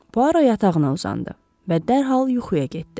Puaro yatağına uzandı və dərhal yuxuya getdi.